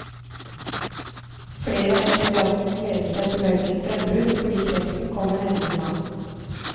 Flere av entusiastene gledet seg til mørkets frembrudd fordi krepsen kommer nærmere land.